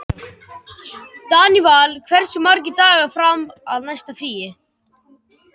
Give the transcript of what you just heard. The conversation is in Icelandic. Daníval, hversu margir dagar fram að næsta fríi?